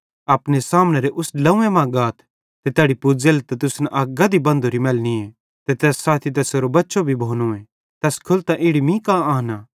कि अपने सामने उस ड्लव्वें मां गाथ ते तैड़ी पुज़ेले त तुसन अक गधी बंधोरी मैलनिये ते तैस साथी तैसेरो बच्चो भी भोनोए तैस खोलतां इड़ी मीं कां आनां